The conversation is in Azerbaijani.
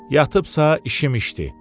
Yatıbsa işim işdi.